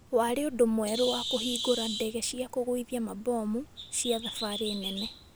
Yaarĩ ũndũ mwerũ wa kũbingũra ndege cia kũgwĩthia mabomu cia thafarĩ nene